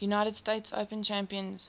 united states open champions